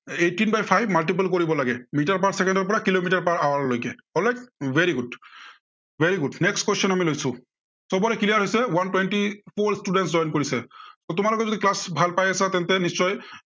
eighteen by five multiple কৰিব লাগে metre per চেকেণ্ডৰ পৰা কিলোমিটাৰ per hour লৈ alright, very good very good, next question আমি লৈছো, সৱৰে clear হৈছে, one twenty four students join কৰিছে। তোমালোকে যদি class ভাল পাই আছা তেন্তে নিশ্চয়